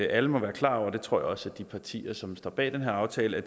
alle må være klar over det tror jeg også at de partier som står bag den her aftale